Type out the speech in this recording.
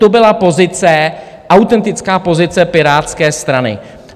To byla pozice, autentická pozice Pirátské strany.